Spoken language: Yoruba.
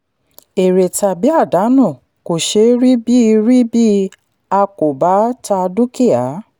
èrè tàbí àdánù kò ṣeé rí bí rí bí a kò bá ta dúkìá.